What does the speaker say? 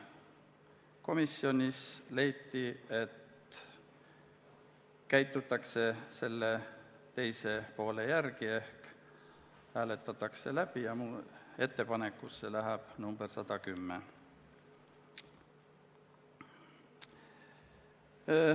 Komisjonis leiti, et käitutakse selle teise variandi järgi ehk hääletatakse läbi ja ettepanekusse läheb number 110.